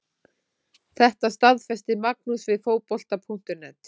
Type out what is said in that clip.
Þetta staðfesti Magnús við Fótbolta.net.